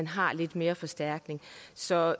har lidt mere forstærkning så